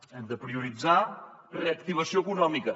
hem de prioritzar reactivació econòmica